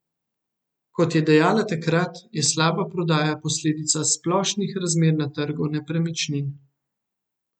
Kot je dejala takrat, je slaba prodaja posledica splošnih razmer na trgu nepremičnin.